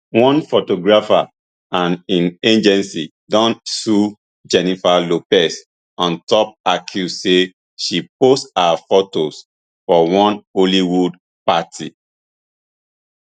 one photographer and im agency don sue jennifer lopez on top accuse say she post her fotos for one hollywood party